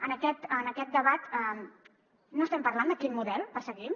en aquest debat no estem parlant de quin model perseguim